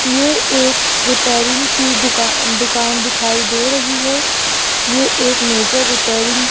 ये एक रिपेयरिंग दुकान दुकान दिखाई दे रही है ये एक मेजर रिपेयरिंग --